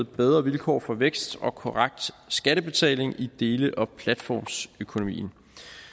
bedre vilkår for vækst og korrekt skattebetaling i dele og platformsøkonomien